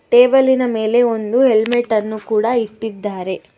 ಟೇಬಲಿನ ಮೇಲೆ ಒಂದು ಹೆಲ್ಮೆಟ್ ಅನ್ನು ಕೂಡ ಇಟ್ಟಿದ್ದಾರೆ.